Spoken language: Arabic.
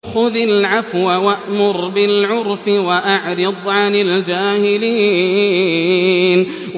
خُذِ الْعَفْوَ وَأْمُرْ بِالْعُرْفِ وَأَعْرِضْ عَنِ الْجَاهِلِينَ